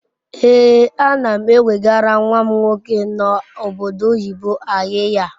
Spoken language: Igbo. Ee anam ewegara nwam nwoke no obodo oyibo ayiya